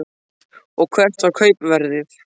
Og hvert var kaupverðið?